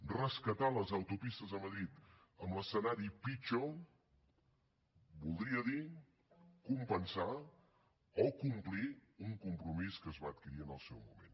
rescatar les autopistes a madrid en l’escenari pitjor voldria dir compensar o complir un compromís que es va adquirir en el seu moment